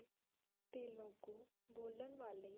ਤੇਲੁਗੂ ਬੋਲਣ ਵਾਲੇ